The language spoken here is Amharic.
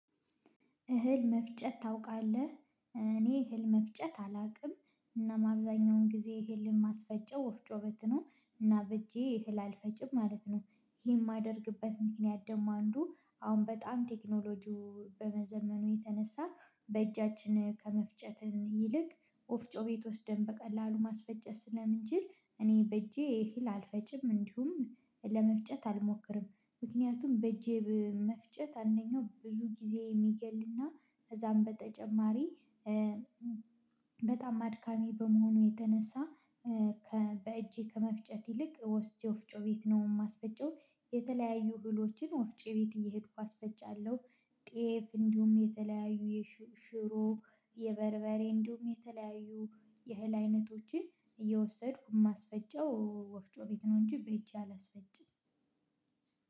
እህል መፍጨት ታውቃለህ? እኔ እህል መፍጨት አላውቅም። እና አብዛኛውን ጊዜ እህልን ማስፈጨብ ወፍጮ ቤት ነው እና በእጄ እህል አልፈጭም ማለት ነው። ይሄን የማደርግበት ምክንያት ደም አንዱ አሁን በጣም ቴክኖሎጂው በመዘመኑ የተነሳ በእጃችን ከመፍጨትን ይልቅ ወፍጮ ቤት ወስደን በቀላሉ ማስፈጨት ስለምንችል። እኔ በእጄ ይሄን አልፈጭም እንዲሁም ለመፍጨት አልሞክርም። ምክንያቱም በእጄ መፍጨት አንደኛው ብዙ ጊዜ የሚገልና ከዛም በተጨማሪ በጣም አድካሚ በመሆኑ የተነሳ ከ በእጄ ከመፍጨት ይልቅ ወስጄ ወፍጮ ቤት ነው የማስፈጨው። የተለያዩ እህሎችን ወፍጮ ቤት እየሄድኩ አስፈጫለሁ። ጤፍ እንዲሁም የተለያዩ ሽሮ የበርበሬ እንዲሁም የተለያዩ የእህል አይነቶቼን እየወሰድኩ የማስፈጨው ወፍጮ ቤት ነው እንጂ በእጀ አላስፈጭም።